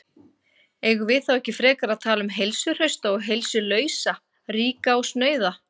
Eigum við þá ekki frekar að tala um heilsuhrausta og heilsulausa, ríka og snauða?